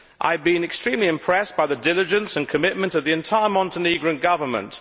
I have been extremely impressed by the diligence and commitment of the entire Montenegrin Government.